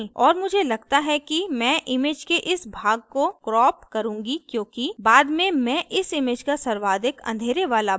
और मुझे लगता है कि मैं image के इस भाग को crop करुँगी क्योंकि बाद में मैं इस image का सर्वाधिक अँधेरे वाला भाग रखना चाहती हूँ